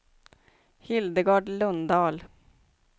Hildegard Lundahl